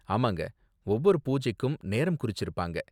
ஆமாங்க, ஒவ்வொரு பூஜைக்கும் நேரம் குறிச்சிருப்பாங்க.